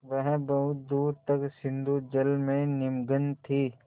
वह बहुत दूर तक सिंधुजल में निमग्न थी